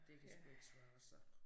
Det kan sgu ikke svare sig